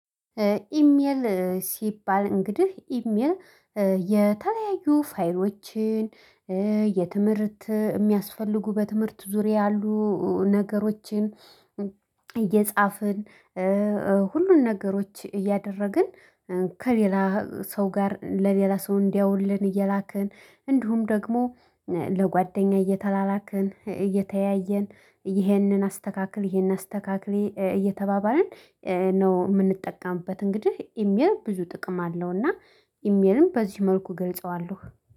ኢሜል ሲባል እንግዲህ ኢሜል የተለያዩ ፋይሎችን የትምህርት እሚያስፈልጉ በትምህርት ዙሪያ ያሉ ነገሮችን እየጻፍን ሁሉን ነገሮች እያደረግን ከሌላ ሰው ጋር ለሌላ ሰው እንዲያውልን እየላከን እንዲሁም ደግሞ ለጓደኛ እየተላላክን እየተያየን ይህንን አስተካክል ይህንን አስተካክሊ እየተባባልን ነው እምንጠቀምበት እንግዲህ ኢሜል ብዙ ጥቅም አለውና። ኢሜልም በዚህ መልኩ ገልጸዋለሁ